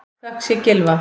Þökk sé Gylfa